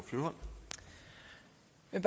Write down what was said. jeg